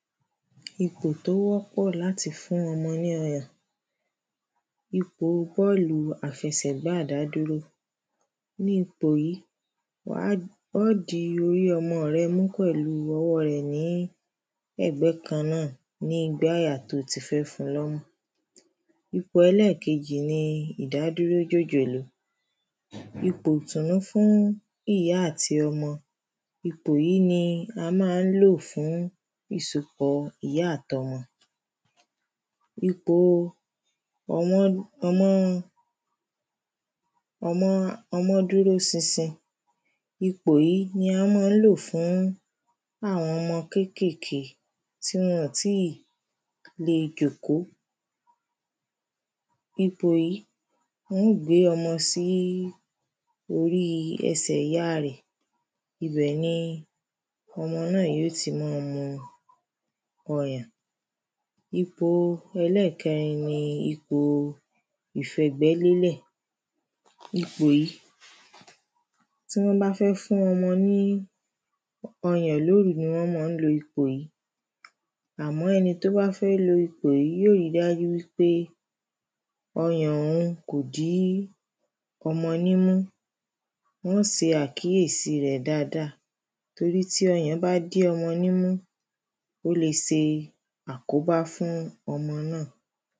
Ipò tí ó wọ́pọ̀ láti fún ọmọ ní ọyàn. Ni ipò yí, wàá ó di orí ọmọ rẹ mú pẹ̀lu ọwọ́ rẹ̀ ní ẹ̀gbẹ́ kan náà ní igbáyà tí ó ti fẹ́ fun lọ́mú. Ipò ẹlẹ́kejì ni ìdádúró jòjòló. Ipò ìtùnú fún ìyá àti ọmọ. ipò yí ni a má nlò fún ìsopọ̀ ìyá àti ọmọ. Ipo ọmọ́ ọmọ́ ọmọ́ ọmọ́ dúró sinsin. Ipò yí ni a má ń lò fún àwọn ọmọ kékèké tí wọ́n-ọ̀n tíì le jòkó. Ipò yí, wọn ó gbé ọmọ sí orí ẹsẹ̀ ìya rẹ̀. Ibẹ̀ ni ọmọ náà yó ti má a mu ọyàn. Ipo ẹlẹ́kẹrin ni ipo ìfẹ̀gbẹ́lélẹ̀. Ipò yí, tí wọ́n bá fẹ́ fún ọmọ ní ọyàn lóru ni wọ́n mán lo ipò yí. Àmọ́ ẹni tó bá fẹ́ lo ipò yí yó ri dájú wípé ọyàn òun kò dí ọmọ nímú. Wọ́n ó se àkíyèsí rẹ̀ dáada.